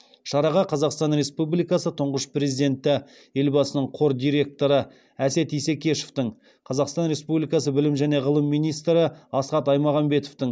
шараға қазақстан республикасы тұңғыш президенті елбасының қор дирекоры әсет исекешевтің қазақстан республикасының білім және ғылым министрі асхат аймағамбетовтің